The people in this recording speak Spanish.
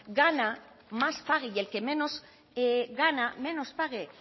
gana más pague y el que menos gana menos pague